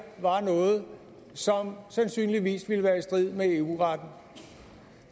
var noget som sandsynligvis ville være i strid med eu retten